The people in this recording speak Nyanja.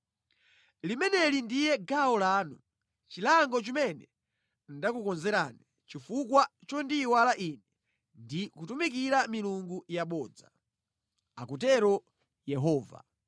Limeneli ndiye gawo lanu, chilango chimene ndakukonzerani chifukwa chondiyiwala Ine ndi kutumikira milungu yabodza, akutero Yehova.